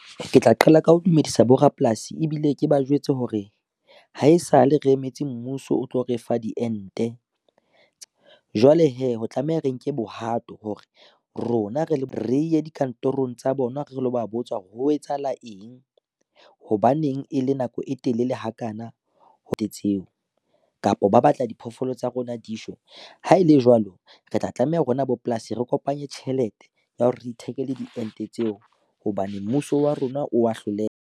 Ke tla qala ka ho dumedisa borapolasi ebile ke ba jwetse hore, ha e sa le re emetse mmuso o tlo refa diente. Jwale hee ho tlameha re nke bohato hore rona re le re ye dikantorong tsa bona re lo ba botswa ho etsahala eng, hobaneng e le nako e telele ha ka na tseo kapa ba batla diphoofolo tsa rona dishwe? Ha ele jwalo re tla tlameha ho rona bopolasi, re kopanye tjhelete ya hore re ithekele diente tseo hobane mmuso wa rona o wa hloleha.